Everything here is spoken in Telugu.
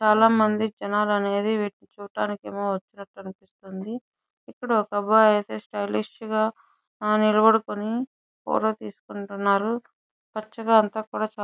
చాలామంది జనాలు అనేది చూడటానికి ఏమో వచ్చి ఉన్నారు తెలుస్తుంది. ఇక్కడ ఒక అబ్బాయి అయితే స్టైలిష్ గా నిలబడుకొని ఫోటో తీసుకుని ఉంటున్నాడు. చుట్టూ అంతా కూడా --